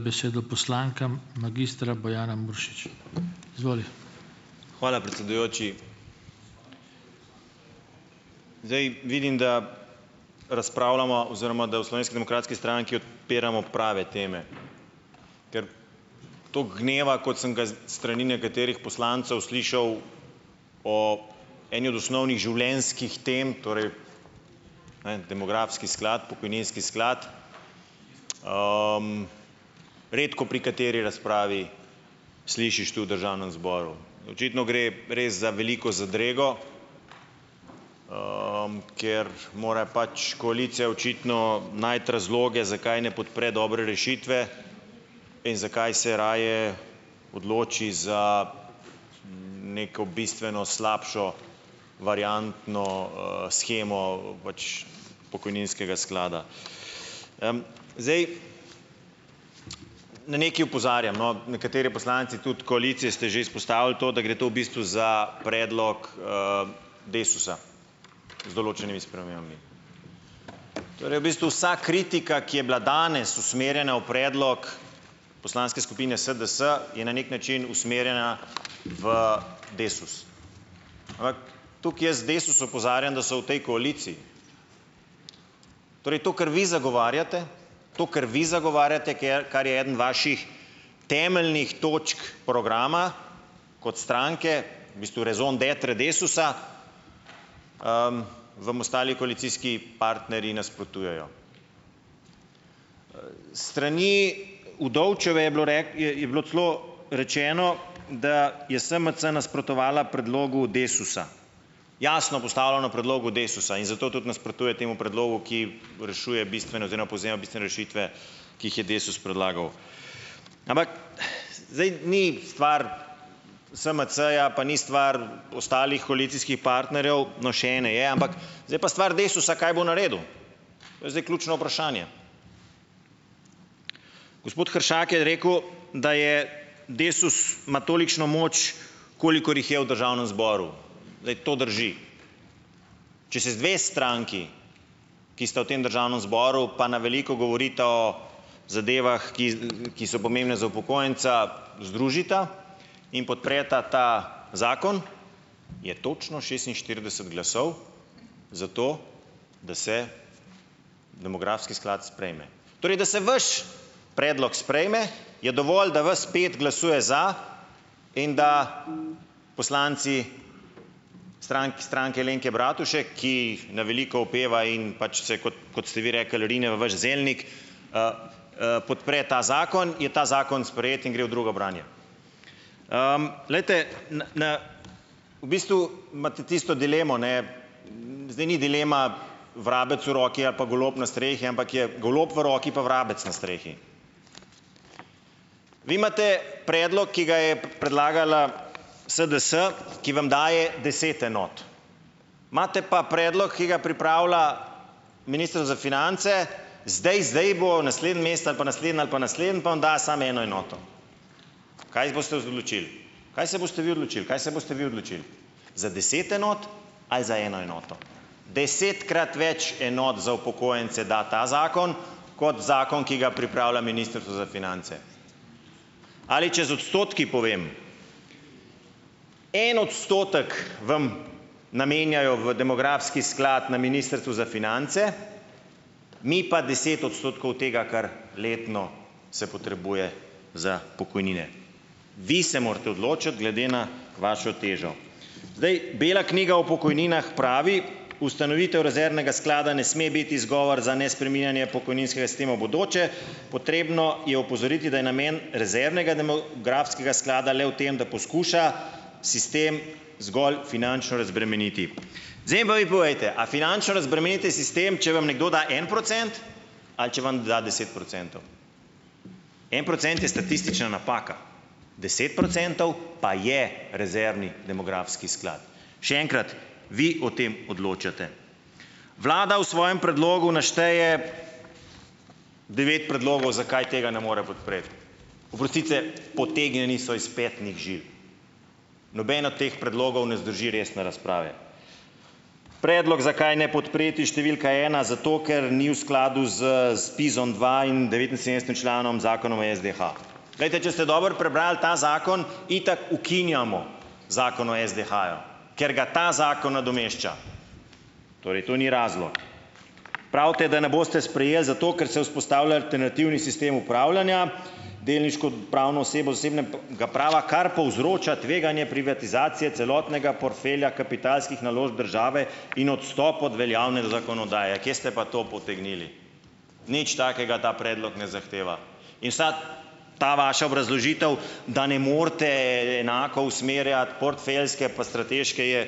Besedo poslankam, magistra Bojana Muršič, izvoli. Hvala, predsedujoči, zdaj vidim, da razpravljamo oziroma da v Slovenski demokratski stranki odpiramo prave teme, ker toliko gneva, kot sem ga z strani nekaterih poslancev slišal, ob eni od osnovnih življenjskih tem torej, ne vem demografski sklad, pokojninski sklad, redko pri kateri razpravi slišiš to v državnem zboru, očitno gre res za veliko zadrego, ker mora pač koalicija očitno najti razloge, zakaj ne podpre dobre rešitve in zakaj se raje odloči za neko bistveno slabšo variantno, shemo pač pokojninskega sklada, zdaj na nekaj opozarjam, no, nekateri poslanci tudi koalicije ste že izpostavili to, da gre to v bistvu za predlog, Desusa z določenimi spremembami, torej v bistvu vsa kritika, ki je bila danes usmerjena v predlog poslanske skupine SDS, je na neki način usmerjena v Desus, ker tukaj jaz iz Desusa opozarjam, da so v tej koaliciji, torej to, kar vi zagovarjate, to, kar vi zagovarjate, kar je ena vaših temeljnih točk programa kot stranke, v bistvu raison d'être Desusa, vam ostali koalicijski partnerji nasprotujejo, strani Udovčeve je bilo, je, je bilo celo rečeno, da je SMC nasprotovala predlogu Desusa, jasno postavljenemu predlogu Desusa, in zato tudi nasprotuje temu predlogu, ki rešuje bistvene oziroma povzema bistvene rešitve ki jih je Desus predlagal, ampak zdaj ni stvar SMC-ja pa ni stvar ostalih koalicijskih partnerjev, no, še ene je, ampak zdaj pa stvar Desusa, kaj bo naredil, to je zdaj ključno vprašanje, gospod Hršak je rekel, da je Desus ima tolikšno moč, kolikor jih je v državnem zboru, glej, to drži, če se dve stranki, ki sta v tem državnem zboru pa na veliko govorita o zadevah, ki so pomembne za upokojenca, združita in podpreta ta zakon, je točno šestinštirideset glasov, zato da se demografski sklad sprejme, torej da se vaš predlog sprejme, je dovolj, da vas pet glasuje za in da poslanci Stranke Alenke Bratušek, ki jih na veliko opeva, in pač se kot, kot ste vi rekli, rine v boš zelnik, podpre ta zakon, je ta zakon sprejet in gre v drugo branje, glejte, v bistvu imate tisto dilemo, ne, zdaj ni dilema vrabec v roki ali pa golob na strehi, ampak je golob v roki pa vrabec na strehi, vi imate predlog, ki ga je predlagala SDS, ki vam daje deset enot, imate pa predlog, ki ga pripravlja minister za finance, zdaj zdaj bo naslednji mesec ali pa naslednji ali pa naslednji, pa vam da samo eno enoto, kaj z boste odločili, kaj se boste vi odločili, kaj se boste vi odločili, za deset enot ali za eno enoto desetkrat več enot za upokojence, da ta zakon kot zakon, ki ga pripravlja ministrstvo za finance, ali če z odstotki povem, en odstotek vam namenjajo v demografski sklad na ministrstvu za finance, mi pa deset odstotkov tega, kar letno se potrebuje za pokojnine, vi se morate odločiti glede na vašo težo, zdaj, bela knjiga o pokojninah pravi: "Ustanovitev rezervnega sklada ne sme biti izgovor za nespreminjanje pokojninskega sistema bodoče." Potrebno je opozoriti, da je namen rezervnega demografskega sklada le v tem, da poskuša sistem zgolj finančno razbremeniti, zdaj pa vi povejte, a finančno razbremenite sistem, če vam nekdo da en procent ali če vam da deset procentov, en procent je statistična napaka, deset procentov pa je rezervni demografski sklad, še enkrat, vi o tem odločate, vlada v svojem predlogu našteje devet predlogov, zakaj tega ne more podpreti, oprostite, potegnjeni so iz petnih žil, noben od teh predlogov ne zdrži resne razprave, predlog, zakaj ne podpreti številka ena, zato ker ni v skladu z ZPIZ-om dva in devetinsedemdesetim členom zakona o SDH, glejte, če ste dobro prebrali ta zakon, itak ukinjamo zakon o SDH-ju, ker ga ta zakon nadomešča, torej to ni razlog, pravite, da ne boste sprejeli zato, ker se vzpostavlja alternativni sistem upravljanja, delniško pravno osebo zasebnega prava, kar povzroča tveganje privatizacije celotnega portfelja kapitalskih naložb države in odstop od veljavne zakonodaje, kje ste pa to potegnili, nič takega ta predlog ne zahteva, ta vaša obrazložitev, da ne morete enako usmerjati portfeljske pa strateške, je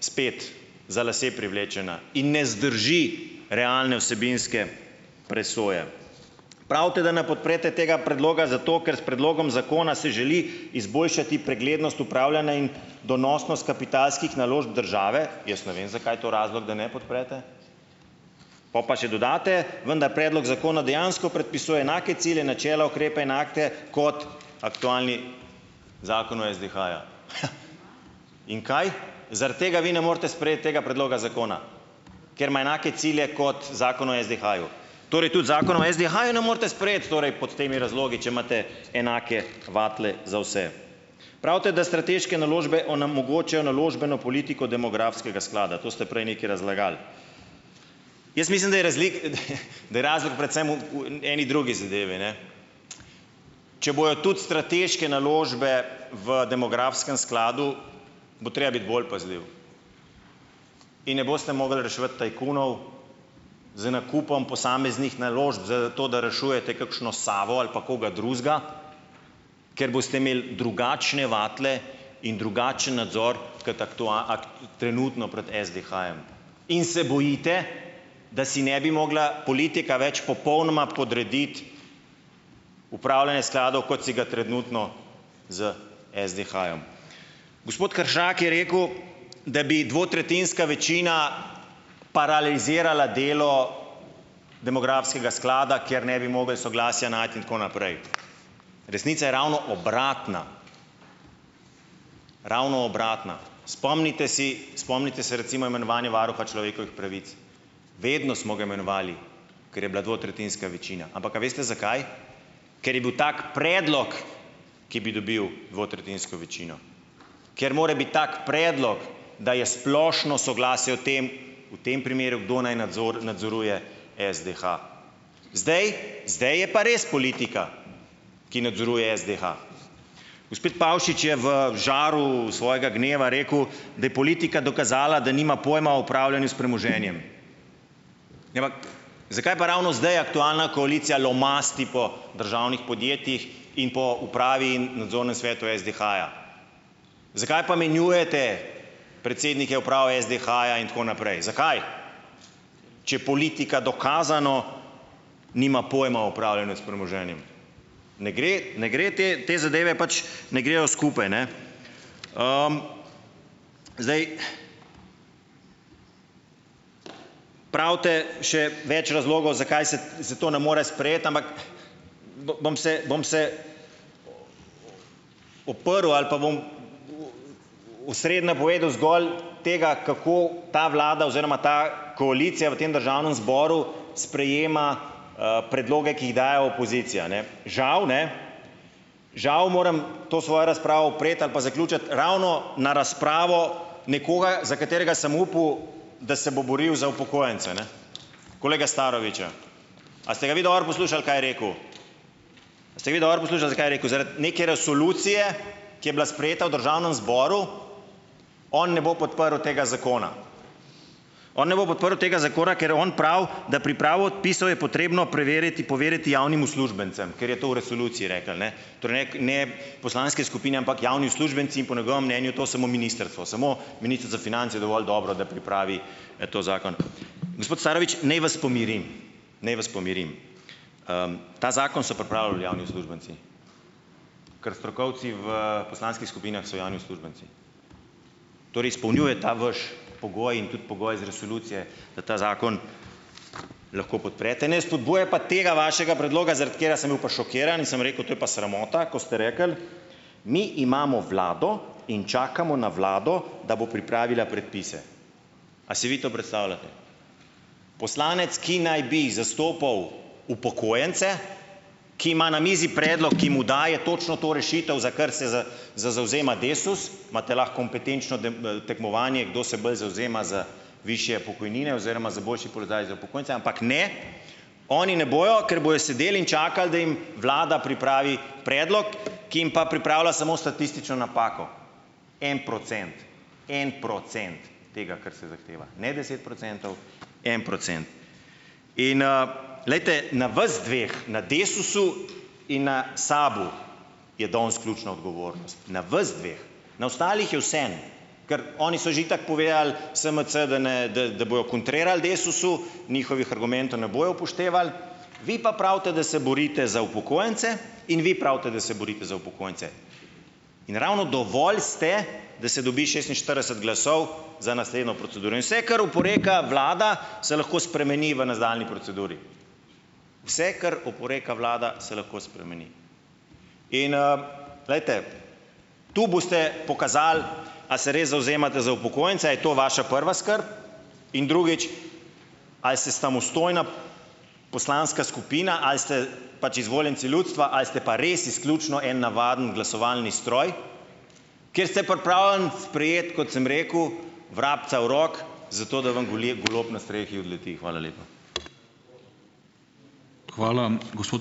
spet za lase privlečena in ne zdrži realne vsebinske presoje, pravite, da ne podprete tega predloga zato, ker s predlogom zakona se želi izboljšati preglednost upravljanja in donosnost kapitalskih naložb države, jaz ne vem, zakaj je to razlog, da ne podprete pol pa še dodate, vendar predlog zakona dejansko predpisuje enake cilje, načela, ukrepe in akte kot aktualni zakon o SDH-ju in kaj zaradi tega vi ne morete sprejeti tega predloga zakona, ker ima enake cilje kot zakon o SDH-ju, torej tudi zakona o SDH-ju ne morete sprejeti, torej pod temi razlogi, če imate enake vatle za vse, pravite, da strateške naložbe onemogočajo naložbeno politiko demografskega sklada, to ste prej nekaj razlagali, ja, mislim, da je hehe, da je razlog predvsem v v eni drugi zadevi, ne, če bojo tudi strateške naložbe v demografskem skladu, bo treba biti bolj pazljiv in ne boste mogli reševati tajkunov z nakupom posameznih naložb, zato da rešujete kakšno Savo ali pa koga drugega, ker boste imeli drugačne vatle in drugačen nadzor kot trenutno pred SDH-jem in se bojite, da si ne bi mogla politika več popolnoma podrediti upravljanja skladov, kot si ga trenutno s SDH-jem, gospod Hršak je rekel, da bi dvotretjinska večina paralizirala delo demografskega sklada, kjer ne bi mogli soglasja najti in tako naprej, resnica je ravno obratna, ravno obratna, spomnite si, spomnite se recimo imenovanja varuha človekovih pravic, vedno smo ga imenovali, ker je bila dvotretjinska večina, ampak a veste zakaj, ker je bil tak predlog, ki bi dobil dvotretjinsko večino, ker mora biti tak predlog, da je splošno soglasje o tem, v tem primeru, kdo naj nadzoruje SDH, zdaj zdaj je pa res politika, ki nadzoruje SDH, gospod Pavšič je v žaru svojega gneva rekel, da je politika dokazala, da nima pojma o pravljenju s premoženjem, zakaj pa ravno zdaj aktualna koalicija lomasti po državnih podjetjih in po upravi in nadzornem svetu SDH-ja zakaj pa menjujete predsednike uprave SDH-ja in tako naprej, zakaj, če politika dokazano nima pojma o upravljanju s premoženjem, ne gre, ne gre, te, te zadeve pač ne grejo skupaj, ne, zdaj pravite še več razlogov, zakaj se se to ne more sprejeti, ampak bom se, bom se, oprl ali pa bom v sredi napovedal zgolj tega, kako ta vlada oziroma ta koalicija v tem državnem zboru sprejema, predloge, ki jih daje opozicija, ne, žal ne, žal moram to svojo razpravo opreti ali pa zaključiti ravno na razpravo nekoga, za katerega sem upal, da se bo boril za upokojence, ne, kolega Staroviča, a ste ga vi dobro poslušali, kaj je rekel, a ste ga vi dobro poslušali, zakaj je rekel zaradi neke resolucije, ki je bila sprejeta v državnem zboru, on ne bo podprl tega zakona, on ne bo podprl tega zakona, ker on pravi, da pripravo odpisov je potrebno preveriti, poveriti javnim uslužbencem, ker je to v resoluciji rekel, ne, torej poslanske skupine, ampak javni uslužbenci, in po njegovem mnenju je to samo ministrstvo, samo ministrstvo za finance je dovolj dobro, da pripravi, ta zakon, gospod Starovič, naj vas pomirim, naj vas pomirim, ta zakon so pripravili javni uslužbenci, ker strokovci v poslanskih skupinah so javni uslužbenci, torej izpolnjuje ta vaš pogoj in tudi pogoj iz resolucije, da ta zakon lahko podprete, ne spodbuja pa tega vašega predloga, zaradi katerega sem bil pa šokiran in sem rekel: "To je pa sramota." Ko ste rekli: "Mi imamo vlado in čakamo na vlado, da bo pripravila predpise." A si vi to prestavljate? Poslanec, ki naj bi zastopal upokojence, ki ima na mizi predlog, ki mu daje točno to rešitev, za kar se z zavzema Desus, imate lahko kompetenčno tekmovanje, kdo se bolj zavzema za višje pokojnine oziroma za boljši položaj za upokojence, ampak ne, oni ne bojo, ker bojo sedeli in čakali, da jim vlada pripravi predlog, ki jim pa pripravlja samo statistično napako, en procent, en procent, tega, kar se zahteva, ne deset procentov, en procent in, glejte, na vas dveh na Desusu in na SAB-u je danes ključna odgovornost, na vas dveh na ostalih je vseeno, ker oni so že itak povedali, SMC, da ne da bojo kontrirali Desusu, njihovih argumentov ne bojo upoštevali vi pa pravite, da se borite za upokojence, in vi pravite, da se borite za upokojence, in ravno dovolj ste, da se dobi šestinštirideset glasov za naslednjo proceduro, in se kar oporeka vlada, se lahko spremeni v nadaljnji proceduri, vse, kar oporeka vlada, se lahko spremeni, in, glejte, tu boste pokazali, a se res zavzemate za upokojence, a je to vaša prva skrb, in drugič, ali se samostojna poslanska skupina ali ste pač izvoljenci ljudstva ali ste pa res izključno en navaden glasovalni stroj, ker ste pripravljeni sprejeti, kot sem rekel, vrabca v roki, zato da vam goleb, golob na strehi odleti, hvala lepa. Hvala, gospod ...